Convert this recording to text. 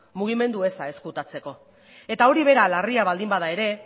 mugimendu eza ezkutatzeko eta hori bera larria baldin bada ere